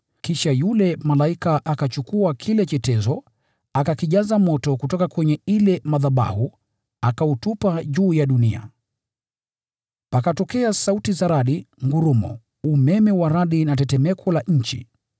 Kisha yule malaika akachukua kile chetezo, akakijaza moto kutoka kwa yale madhabahu, akautupa juu ya dunia. Pakatokea sauti za radi, ngurumo, umeme wa radi na tetemeko la ardhi.